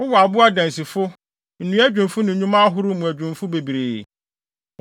Wowɔ abo adansifo, nnua adwumfo ne nnwuma ahorow mu adwumfo bebree.